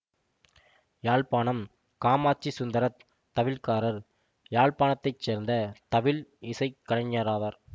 யாழ்ப்பாணம் காமாட்சி சுந்தரத் தவில்காரர் யாழ்ப்பாணத்தைச் சேர்ந்த தவில் இசை கலைஞராவார்